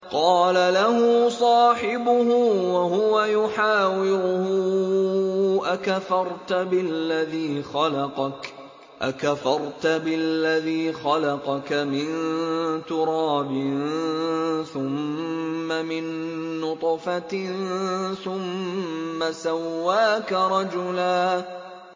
قَالَ لَهُ صَاحِبُهُ وَهُوَ يُحَاوِرُهُ أَكَفَرْتَ بِالَّذِي خَلَقَكَ مِن تُرَابٍ ثُمَّ مِن نُّطْفَةٍ ثُمَّ سَوَّاكَ رَجُلًا